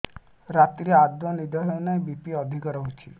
ରାତିରେ ଆଦୌ ନିଦ ହେଉ ନାହିଁ ବି.ପି ଅଧିକ ରହୁଛି